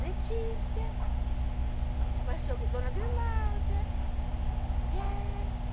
Letícia, apareceu Dona Grimalda, Gertz.